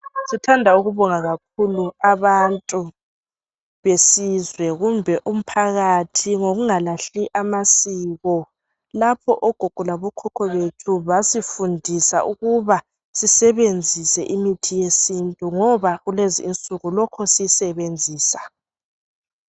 Sithanda ukubonga kakhulu abantu besizwe kumbe umphakathi ngokunga lahli amasiko lopho ogogo labo khokho bethu basifundisa ukuba sisebenzise imithi ye sintu ngoba kulezi insuku lokhe siyisebenzisa.